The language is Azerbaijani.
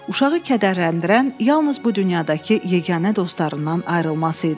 Uşağı kədərləndirən yalnız bu dünyadakı yeganə dostlarından ayrılması idi.